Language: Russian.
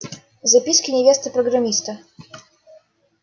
записки невесты программиста